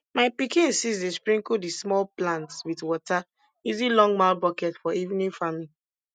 my pikin sis dey sprinkle di small plants wit water using longmouth bucket for evening farming